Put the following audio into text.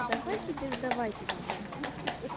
давайте без давайте без давайте